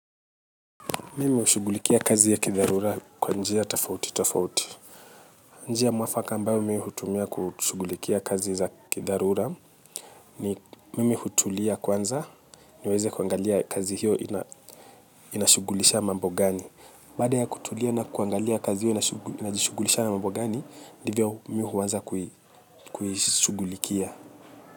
Mimi ushughulikia kazi ya kidharura kwa njia tafauti tafauti. Njia mwafaka ambayo mimi hutumia kushughulikia kazi za kiharura ni, mimi hutulia kwanza niweze kuangalia kazi hiyo inashughulisha mambo gani. Baada ya kutulia na kuangalia kazi hiyo inashughulisha mambo gani, ndivyo mimi huanza kushughulikia.